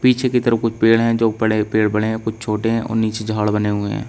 पीछे की तरफ कुछ पेड़ है जो बड़े पेड़ बड़े हैं कुछ छोटे हैं और नीचे झाड़ बने हुए हैं।